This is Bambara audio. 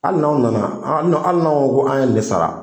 Hali n'aw nana hali n'anw ko an ye nin de sara